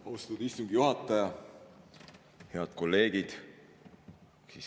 Austatud istungi juhataja!